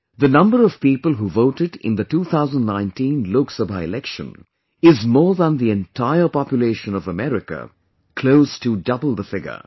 The number of people who voted in the 2019 Lok Sabha Election is more than the entire population of America, close to double the figure